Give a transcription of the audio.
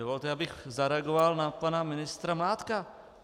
Dovolte, abych zareagoval na pana ministra Mládka.